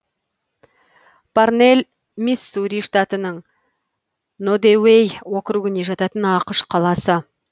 парнэлл миссури штатының нодеуей округіне жататын ақш қаласы